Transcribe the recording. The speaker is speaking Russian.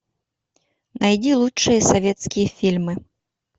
найди лучшие советские фильмы